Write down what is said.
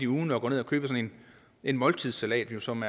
ugen at gå ned og købe sådan en måltidssalat som